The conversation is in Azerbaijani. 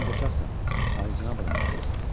Sən qoçaqsan, alicənab adama oxşayırsan.